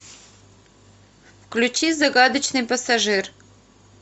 включи загадочный пассажир